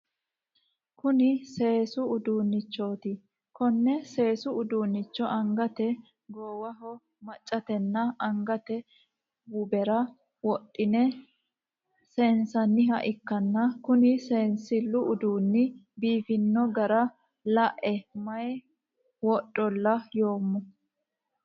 Kunni seesu uduunnichooti. Konne seesu uduunicho angate, goowaho, macatenna angate wubera wodhine seensanniha ikanna kunni seensilu uduunni biifino gara lae mayi wodhola yoomo.